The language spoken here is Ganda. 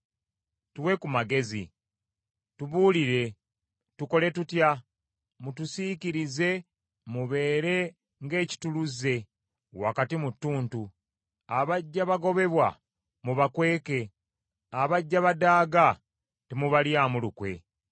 “Tuwe ku magezi, tubuulire, tukole tutya? Mutusiikirize mubeere ng’ekittuluze wakati mu ttuntu, Abajja bagobebwa mubakweke, abajja badaaga temubalyamu lukwe.